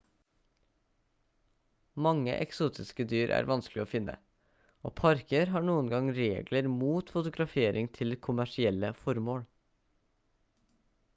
mange eksotiske dyr er vanskelig å finne og parker har noen ganger regler mot fotografering til kommersielle formål